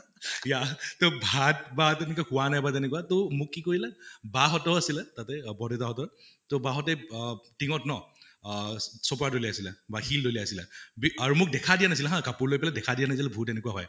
yea তʼ ভাত বা তেনেকে হোৱা নাই তেনেকুৱা তʼ মোক কি কৰিলে বা হঁতো আছিলে তাতে বৰদেউতা হঁতৰ, তʼ বা হঁতে ট্ঙ্গত ন অহ চপৰা দলিয়াইছিলে বা শিল দলিয়াইছিলে । বি আৰু মোক দেখা দিয়া নাছিলে হা কাপোৰ লৈ পালে দেখা দিয়া নাছিলে ভূত এনেকুৱা হয়